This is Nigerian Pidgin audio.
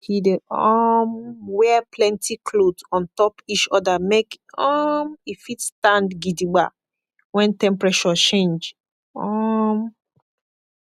he dey um wear plenti kloth ontop ish oda make um e fit stand gidigba wen temprashur change um